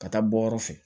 Ka taa bɔ yɔrɔ fɛ